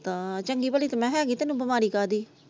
ਤਾ ਚੰਗੀ ਭਲੀ ਤੂੰ ਹੈਗੀ ਤੈਨੂੰ ਬਿਮਾਰੀ ਕਾਦੀ।